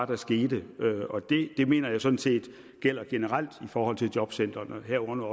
der skete det mener jeg sådan set gælder generelt i forhold til jobcentrene herunder